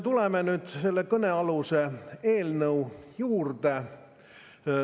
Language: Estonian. Tuleme nüüd selle kõnealuse eelnõu juurde.